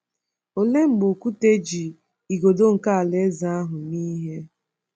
Olee mgbe Okwute ji “igodo nke alaeze ahụ” mee ihe?